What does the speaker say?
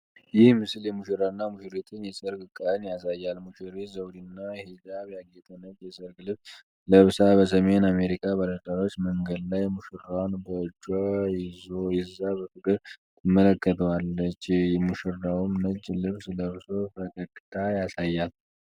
ይህ ምስል የሙሽራና ሙሽሪትን የሰርግ ቀን ያሳያል። ሙሽሪት ዘውድና ሂጃብ ያጌጠ ነጭ የሰርግ ልብስ ለብሳ በሰሜን አሜሪካ ባለትዳሮች መንገድ ላይ ሙሽራዋን በእጇ ይዛ በፍቅር ትመለከተዋለች፤ ሙሽራውም ነጭ ልብስ ለብሶ ፈገግታ ያሳያል።